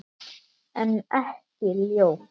En ekki ljót.